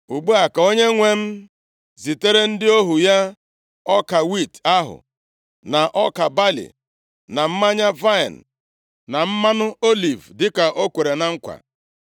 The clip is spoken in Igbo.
“Ugbu a, ka onyenwe m zitere ndị ohu ya ọka wiiti ahụ, na ọka balị, na mmanya vaịnị, na mmanụ oliv, dịka ọ kwere na nkwa.